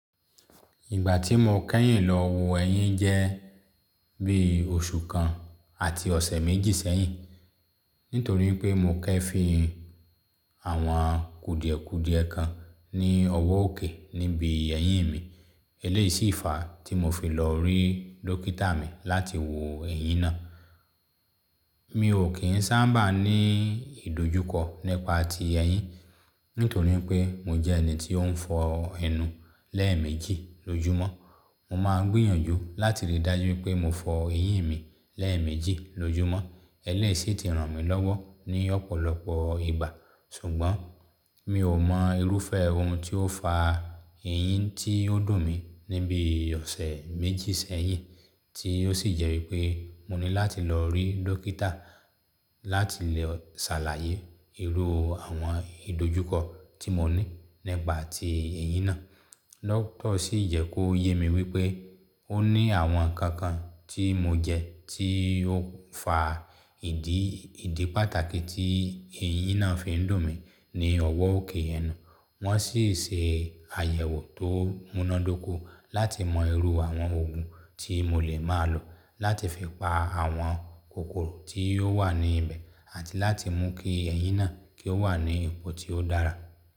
Ìgbà tí mo kẹ́yìn lọ wo ẹyín jẹ́ bí oṣù kan àti ọ̀sẹ̀ méjì sẹ́yìn. Nítorí pé mo kẹ́ fi àwọn kudiẹ̀kudiẹ̀ kan ní ọwọ́ òkè níbi ẹyín mi. Eléyìí sì fàá tí mo fi lọ rí dókítà mi láti wo ẹyín náà. Mi ò kí ń sábà ní ìdojúkọ nípa ti ẹyín, nítorí pé mo jẹ́ ẹni tí ó ń fọ ẹnu lẹ́ẹ̀mejì lójoomọ́. Mo máa gbìyànjú láti rí dájú pé mo fọ ẹyín mi lẹ́ẹ̀mejì lójoomọ́. Eléyìí sì ti ràn mí lọ́wọ́ ní ọ̀pọ̀lọpọ̀ ìgbà. Sùgbọ́n mi ò mọ irúfẹ́ ohun tó fa ẹyín tí ó dùn mí níbi ọ̀sẹ̀ méjì sẹ́yìn, tí ó sì jẹ́ wípé mo ní láti lọ rí dókítà láti lè ṣàlàyé irú àwọn ìdojúkọ tí mo ní nípa ti ẹyín náà. Dókítà sì yẹ kó yé mi wípé ó ní àwọn nǹkan kan tí mo jẹ tí ó ń fa ìdí ìdí pàtàkì tí ẹyín náà fi ń dùn mí ní ọwọ́ òkè ẹnu. Wọ́n sì ṣe àyẹ̀wò tó múnádóko láti mọ irú àwọn òògùn tí mo lè máa lò láti fi pa àwọn kòkòrò tí ó wà níbẹ̀ àti láti mú kí ẹyín náà kí ó wà ní ipò tí ó dára.